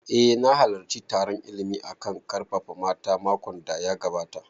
Eh na halarci taron illimin a kan ƙarfafa mata makon da ya gabata